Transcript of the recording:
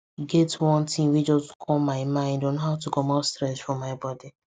e get one thing wey just come my mind on how to comot stress for my body